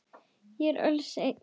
Þau eru öll eins.